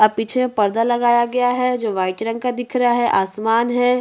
आप पीछे पर्दा लगाया गया है जो व्हाईट रंग का दिख रहा है आसमान है।